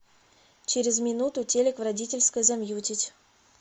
через минуту телек в родительской замьютить